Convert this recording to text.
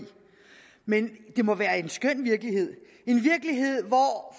men det må være en skøn virkelighed en virkelighed hvor